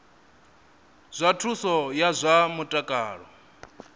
zwa thuso ya zwa mutakalo